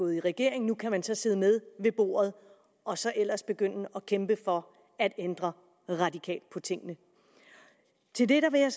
i regeringen nu kan man så sidde med ved bordet og så ellers begynde at kæmpe for at ændre radikalt på tingene til det vil jeg